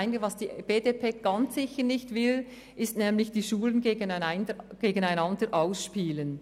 Was die BDP ganz sicher nicht will, ist, die Schulen gegeneinander auszuspielen.